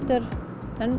en